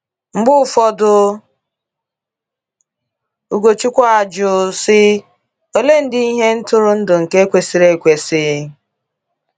Mgbe ụfọdụ, Ugochukwu - ajụ, sị: “ Oleedị ihe ntụrụndụ nke kwesịrị ekwesị?